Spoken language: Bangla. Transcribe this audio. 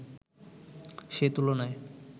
সে তুলনায়